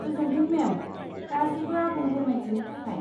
गोजोनथों मेम, गासैबो आबुं फोरमायथिनि थाखाय।